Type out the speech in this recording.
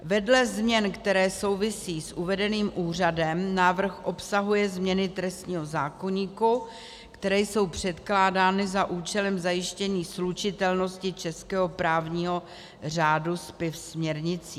Vedle změn, které souvisí s uvedeným úřadem, návrh obsahuje změny trestního zákoníku, které jsou předkládány za účelem zajištění slučitelnosti českého právního řádu se směrnicí.